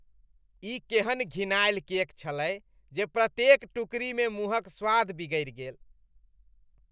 ई केहन घिनायल केक छलै जे प्रत्येक टुकड़ीमे मुँहक स्वाद बिगड़ि गेल।